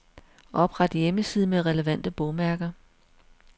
Opret hjemmeside med relevante bogmærker.